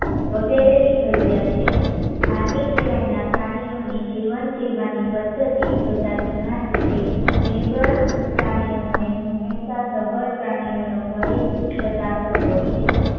વગેરેની જરૂરિયાત છે. માનવી સિવાયના પ્રાણીઓની જીવન જીવવાની પદ્ધતિ જોતા ઘણાં કે છે કે નિર્બળ પ્રાણીઓને હંમેશાં સબર પ્રાણીઓનો ભય સતાતો હોય છે